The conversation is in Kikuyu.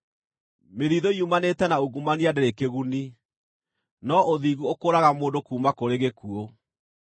Mĩthiithũ yumanĩte na ungumania ndĩrĩ kĩguni, no ũthingu ũkũũraga mũndũ kuuma kũrĩ gĩkuũ.